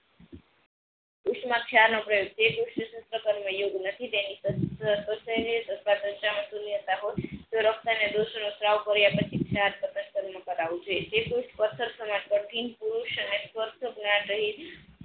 પુસ્થ માં યુગ નથી તેની તે પુસ્થ પત્થર સમાન પુરુષ સ્વાર્થ જ્ઞાન રહી.